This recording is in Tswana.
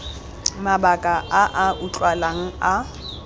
mabaka a a utlwalang a